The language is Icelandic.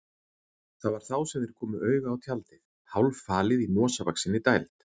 Það var þá sem þeir komu auga á tjaldið, hálffalið í mosavaxinni dæld.